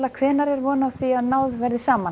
hvenær er von á því að náð verði saman